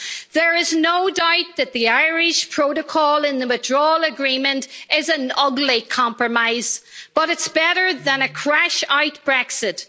There is no doubt that the Irish protocol in the withdrawal agreement is an ugly compromise, but it's better than a crash-out Brexit.